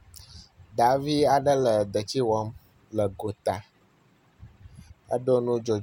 Ŋutsu aɖe siwo gbaa avɔ ʋi wo eye yibɔ aɖe to eme bɔbɔ nɔ anyi. Wo dometɔ aɖewo le ŋu ƒom.